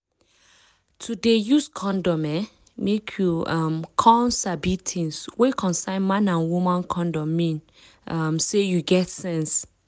to dey use condom eh make you um come sabi tins wey concern man and woman condom mean um say you get sense